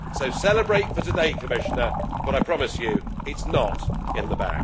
So celebrate for today, Commissioner, but I promise you, it is not in the